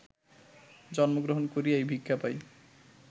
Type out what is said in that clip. জন্মগ্রহণ করিয়াই ভিক্ষা পাই